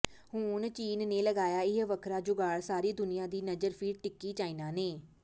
ਹੁਣ ਚੀਨ ਨੇ ਲਗਾਇਆ ਇਹ ਵੱਖਰਾ ਜੁਗਾੜ ਸਾਰੀ ਦੁਨੀਆਂ ਦੀ ਨਜ਼ਰ ਫਿਰ ਟਿਕੀ ਚਾਈਨਾ ਨੇ